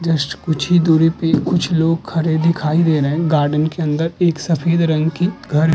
Just कुछ ही दूरी पर कुछ लोग खड़े हुए दिखाई दे रहे। गार्डन के अंदर एक सफेद रंग की घर --